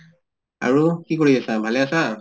আৰু কি কৰি আছা, ভালে আছা?